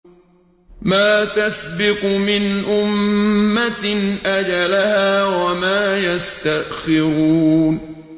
مَّا تَسْبِقُ مِنْ أُمَّةٍ أَجَلَهَا وَمَا يَسْتَأْخِرُونَ